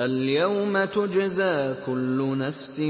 الْيَوْمَ تُجْزَىٰ كُلُّ نَفْسٍ